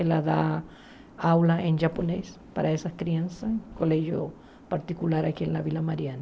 Ela dá aula em japonês para essas crianças, em um colégio particular aqui na Vila Mariana.